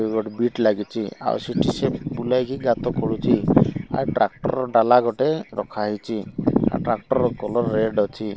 ଏଇ ଗୋଟେ ବିଟ୍ ଲାଗିଚି ଆଉ ସିଠି ସେ ବୁଲାଇକି ଗାତ ଖୋଳୁଚି ଆଉ ଟ୍ରାକ୍ଟର ର ଡାଲା ଗୋଟେ ରଖାହେଇଚି ଆଉ ଟ୍ରାକ୍ଟର ର କଲର୍ ରେଡ୍ ଅଛି।